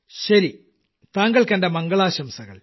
ശരി താങ്കൾക്ക് എന്റെ മംഗളാശംസകൾ